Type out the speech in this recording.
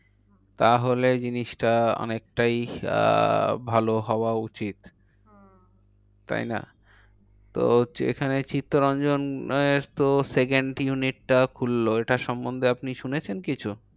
তাহলে জিনিসটা অনেকটাই আহ ভালো হওয়া উচিত। হম তাইনা? তো হচ্ছে এখানে চিত্তরঞ্জনের তো second unit টা খুললো। এটা সন্বন্ধে আপনি শুনেছেন কিছু?